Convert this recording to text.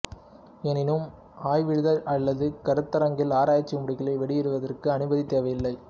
எனினும் ஆய்விதழ் அல்லது கருத்தரங்கில் ஆராய்ச்சி முடிவுகளை வெளியிடுவதற்கு அனுமதி தேவையில்லை